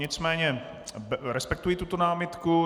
Nicméně respektuji tuto námitku.